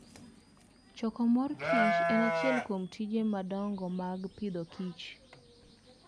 Choko mor kich en achiel kuom tije madongo mag Agriculture and Food.